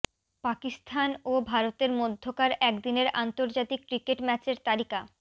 পাকিস্তান ও ভারতের মধ্যকার একদিনের আন্তর্জাতিক ক্রিকেট ম্যাচের তালিকা